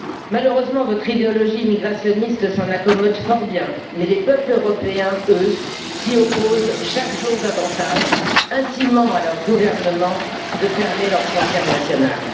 Malheureusement, votre idéologie immigrationniste s'en accommode fort bien, mais les peuples européens s'y opposent chaque jour davantage, intimant à leur gouvernement de fermer leurs frontières nationales.